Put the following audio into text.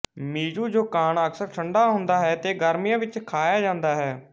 mizu yokan ਅਕਸਰ ਠੰਡਾ ਹੁੰਦਾ ਹੈ ਤੇ ਗਰਮੀਆਂ ਵਿੱਚ ਖਾਇਆ ਜਾਂਦਾ ਹੈ